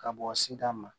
Ka bɔ sigida ma